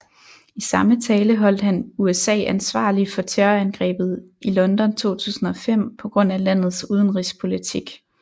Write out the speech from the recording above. I samme tale holdt han USA ansvarlig for terrorangrebet i London 2005 på grund af landets udenrigspolitik